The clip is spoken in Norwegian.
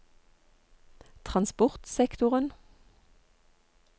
transportsektoren